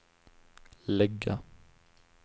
lägga